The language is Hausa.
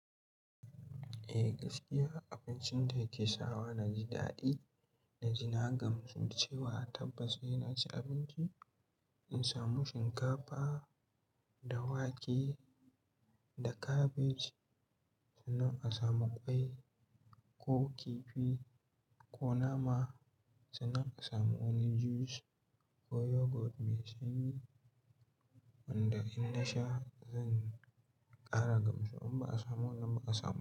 Eh gaskiya abincin da yake sawa na ji daɗi na ji na gamsu da cewa tabbas e na ci abinci. In samu shinkafa da wake da kabeji sannan a samu ƙwai ko kifi ko nama sannan a samu wani juice ko yogurt mai sanyi wanda in na sha zan ƙara gamsu in ba a samu wannan ba a samu.